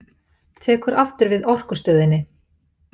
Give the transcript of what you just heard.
Tekur aftur við Orkustöðinni